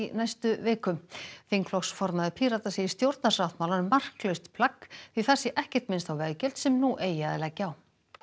næstu viku þingflokksformaður Pírata segir stjórnarsáttmálann marklaust plagg því þar sé ekkert minnst á veggjöld sem nú eigi að leggja á